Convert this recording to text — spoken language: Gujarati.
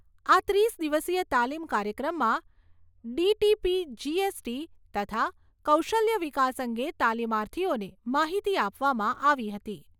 આ ત્રીસ દિવસીય તાલીમ કાર્યક્રમમાં ડી.ટી.પી., જી.એસ.ટી., તથા કૌશલ્ય વિકાસ અંગે તાલીમાર્થીઓને માહિતી આપવામાં આવી હતી.